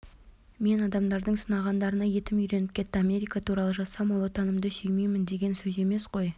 мен адамдардың сынағандарына етім үйреніп кетті америка туралы жазсам ол отанымды сүймеймін деген сөз емес қой